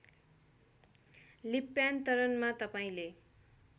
लिप्यान्तरणमा तपाईँले